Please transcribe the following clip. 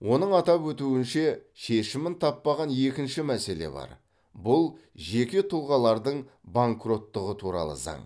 оның атап өтуінше шешімін таппаған екінші мәселе бар бұл жеке тұлғалардың банкроттығы туралы заң